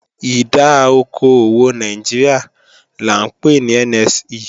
Ìdá okò òwò Nàìjíríà là ńpè ní NSE